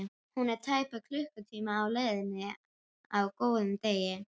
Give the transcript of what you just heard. Hún er tæpan klukkutíma á leiðinni á góðum degi.